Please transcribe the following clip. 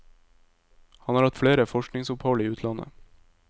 Han har hatt flere forskningsopphold i utlandet.